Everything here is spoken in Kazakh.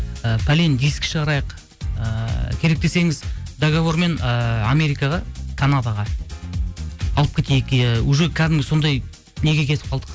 і пәлен диск шығарайық ыыы керек десеңіз договормен ыыы америкаға канадаға алып кетейік иә уже кәдімгі сондай неге кетіп қалдық